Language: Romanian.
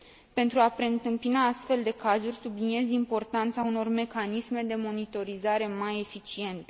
Pentru a preîntâmpina astfel de cazuri, subliniez importanța unor mecanisme de monitorizare mai eficiente.